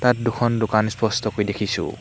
ইয়াত দুখন দোকান স্পষ্টকৈ দেখিছোঁ।